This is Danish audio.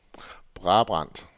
Brabrand